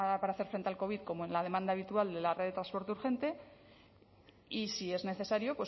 para hacer frente al covid como en la demanda habitual de la red de transporte urgente y si es necesario